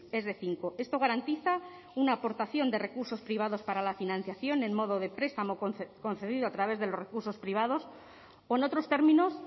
es de cinco esto garantiza una aportación de recursos privados para la financiación en modo de prestamo concedido a través de los recursos privados o en otros términos